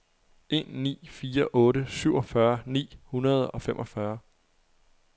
en ni fire otte syvogfyrre ni hundrede og femogfyrre